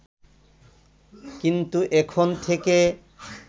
কিন্তু এখন থেকে